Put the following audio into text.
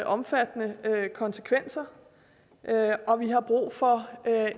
omfattende konsekvenser og vi har brug for